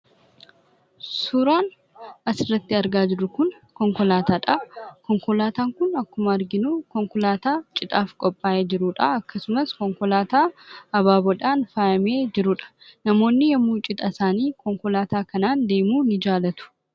Suuraan asirratti argaa jirru kun konkolaataadha. Konkolaataan kun akkuma arginu konkolaataa cidhaaf qophaa'ee jirudha. Akkasumas konkolaataa abaabooodhaan faayamee jirudha. Namoonni yommuu cidha isaanii konkolaataa kanaan deemuu ni jaalatu.